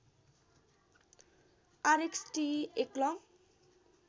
RXTE एक long